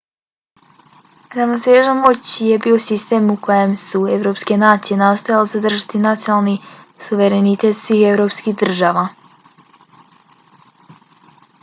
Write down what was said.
ravnoteža moći je bio sistem u kojem su evropske nacije nastojale zadržati nacionalni suverenitet svih evropskih država